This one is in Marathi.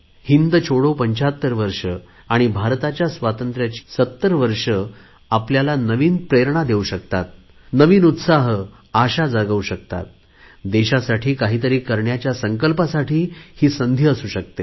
हिंद छोडोला 75 वर्षे आणि भारताच्या स्वातंत्र्याची होणारी 70 वर्षे आपल्याला नवीन प्रेरणा देऊ शकतात नवीन उत्साह आशा निर्माण करु शकतात देशासाठी काही तरी करण्याच्या संकल्पासाठी ही संधी असू शकते